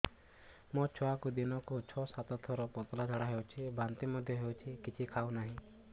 ମୋ ଛୁଆକୁ ଦିନକୁ ଛ ସାତ ଥର ପତଳା ଝାଡ଼ା ହେଉଛି ବାନ୍ତି ମଧ୍ୟ ହେଉଛି କିଛି ଖାଉ ନାହିଁ